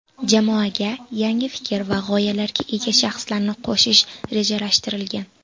Jamoaga yangi fikr va g‘oyalarga ega shaxslarni qo‘shish rejalashtirilgan.